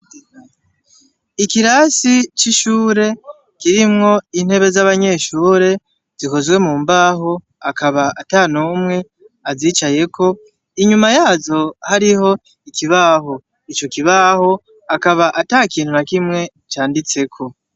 Ikirasi c'ishure, kirimwo intebe z'abanyeshure zikozwe mumbaho, akaba atanumwe azicayeko, inyuma yazo hariho ikibaho. Ico kibaho akaba atakintu na kimwe canditseko.